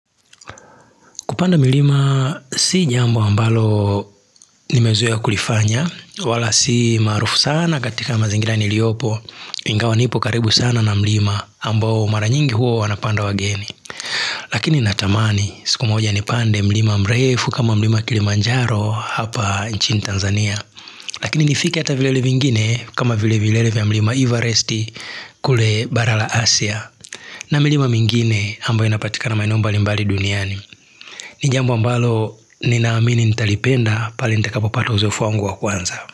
Kupanda milima si jambu ambalo nimezoea kulifanya, wala si maarufu sana katika mazingira niliopo, ingawa nipo karibu sana na milima ambao mara nyingi huwa wanapanda wageni. Lakini natamani siku moja nipande mlima mrefu kama milima Kilimanjaro hapa nchini Tanzania. Lakini nifike hata vilele vingine kama vile vilele vya mlima Everesti kule bara la Asia. Na milima mingine ambayo inapatika na maeno mbalimbali duniani. Ni jambo ambalo nina amini nitalipenda pale nitakapo pata uzoefu wangu wa kwanza.